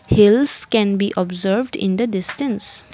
hills can be observed in the distance.